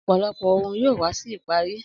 Ọ̀pọ̀lọpọ̀ ohun yóò wá sí ìparí.